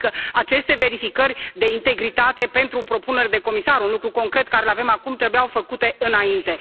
Adică aceste verificări de integritate pentru propuneri de comisar, un lucru concret pe care îl avem acum, trebuiau făcute înainte.